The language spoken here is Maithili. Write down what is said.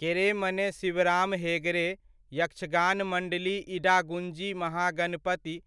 केरेमने शिवराम हेगड़े, यक्षगान मंडली इडागुंजी महागणपति